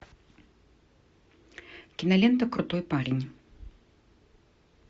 кинолента крутой парень